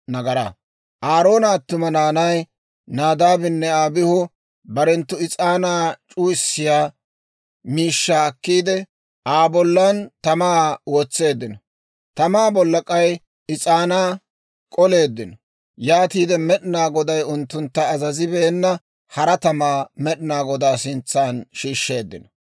Aaroona attuma naanay, Naadaabinne Abihu, barenttu is'aanaa c'uwissiyaa miishshaa akkiide, Aa bollan tamaa wotseeddino; tamaa bolla k'ay is'aanaa k'oleeddino; yaatiide, Med'inaa Goday unttuntta azazibeena, hara tamaa Med'inaa Godaa sintsan shiishsheeddino.